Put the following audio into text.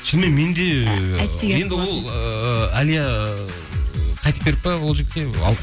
шынымен мен де енді ол ыыы әлия ыыы қайтып беріп пе ол жігітке